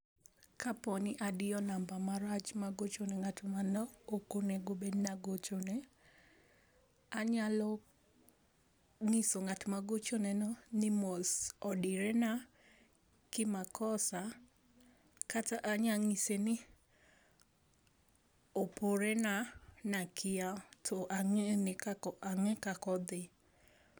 Kaponi adiyo namba marach magochone ngat mane okonego agochne, anyalo nyiso ngat magochone no ni mos odire na ki makosa kata anya nyise ni oporena nakia to angeni kakak, ange kaka odhi